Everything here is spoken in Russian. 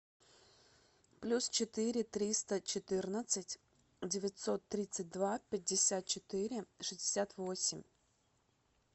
плюс четыре триста четырнадцать девятьсот тридцать два пятьдесят четыре шестьдесят восемь